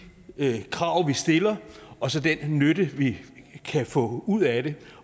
krav vi stiller og så den nytte vi kan få ud af det